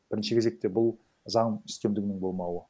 бірінші кезекте бұл заң үстемдігінің болмауы